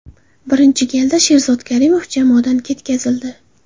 Birinchi galda Sherzod Karimov jamoadan ketkazildi.